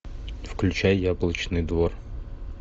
включай яблочный двор